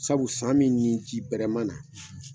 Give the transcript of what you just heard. Sabu san min nin ji bɛrɛ ma na.